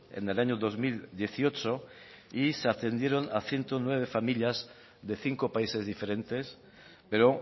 en el año dos mil dieciocho y se atendieron a ciento nueve familias de cinco países diferentes pero